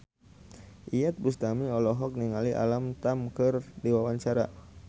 Iyeth Bustami olohok ningali Alam Tam keur diwawancara